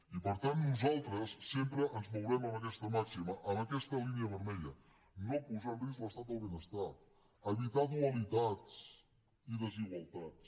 i per tant nosaltres sempre ens mourem en aquesta màxima en aquesta línia vermella no posar en risc l’estat del benestar evitar dualitats i desigualtats